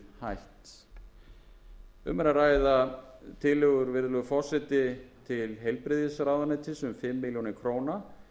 verið hætt um er að ræða tillögur virðulegi forseti til heilbrigðisráðuneytis um fimm milljónir króna